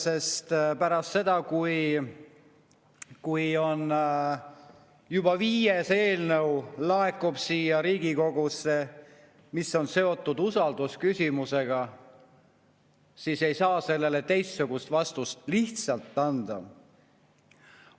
Sest pärast seda, kui siia Riigikogusse on laekunud juba viies eelnõu, mis on seotud usaldusküsimusega, ei saa sellele teistsugust vastust lihtsalt anda.